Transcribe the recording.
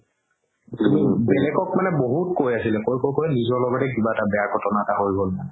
বেলেগক মানে বহুত কৈ আছিলে কৈ কৈ কৈ নিজৰ লগতে কিবা এটা বেয়া ঘতনা হৈ গ'ল মানে